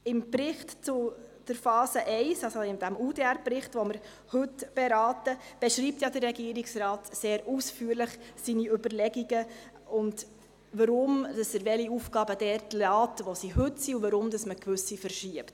Im Bericht zur Phase I – also in diesem UDR-Bericht, den wir heute beraten – beschreibt ja der Regierungsrat seine Überlegungen sehr ausführlich: warum er welche Aufgaben dort belässt, wo sie heute sind, und warum er gewisse verschiebt.